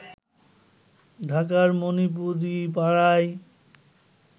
ঢাকার মণিপুরিপাড়ায়